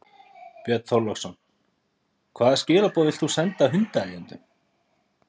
Björn Þorláksson: Hvaða skilaboð vilt þú senda hundaeigendum?